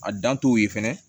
A dan t'o ye fɛnɛ